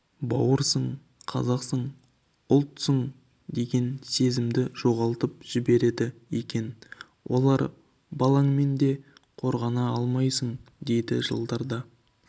бауырсың қазақсың ұлтсың деген сезімді жоғалтып жібереді екен олар балаңмен де қорғана алмайсың дейді жылдарда